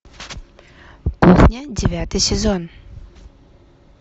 кухня девятый сезон